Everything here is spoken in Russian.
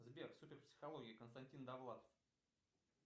сбер супер психология константин довлатов